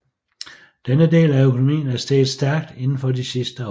Denne del af økonomien er steget stærkt inden for de sidste år